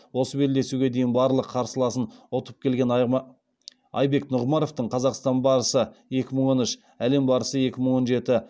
осы белдесуге дейін барлық қарсыласын ұтып келген айбек нұғымаровтың қазақстан барысы екі мың он үш әлем барысы екі мың он жеті